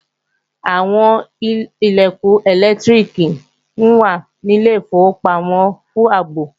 Àwọn Ilẹ̀kùn ẹlẹ́lẹtiriki wà ní ilé ìfowópamọ́ fún ààbò